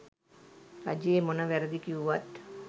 රජයේ මොන වැරදි කිව්වත්